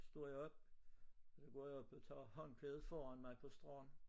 Står jeg op så går jeg op og tager håndklædet foran mig på stranden